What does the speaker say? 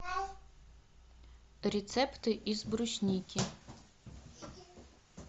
рецепты из брусники